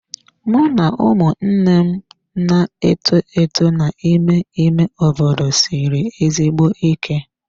Mụ na ụmụnne m na-eto eto n'ime ime obodo siri ezigbo ike.